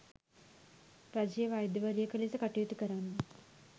රජයේ වෛද්‍යවරියක ලෙස කටයුතු කරන්න